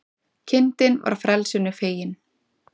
Kindin var frelsinu fegin